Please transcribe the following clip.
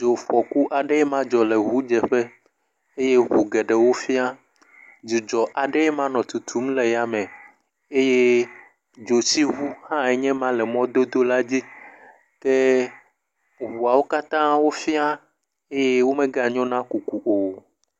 Dzofɔku aɖe ma dzɔ le ʋudzeƒe eye ʋu geɖewo fĩa, dzudzɔ aɖee ma nɔ tutum le ya me eye dzotsiʋu hã enye ma le mɔdodo la dzi ke ʋuawo katã wo fĩa eye wo mega nyo na kuku o.